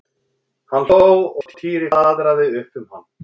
Hann hló og Týri flaðraði upp um hann.